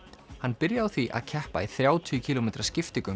hann byrjaði á því að keppa í þrjátíu kílómetra